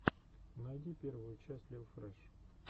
найди первую часть лил фрэш